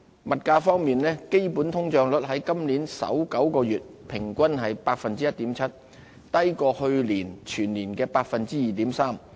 物價方面，基本通脹率在今年首9個月平均為 1.7%， 低於去年全年的 2.3%。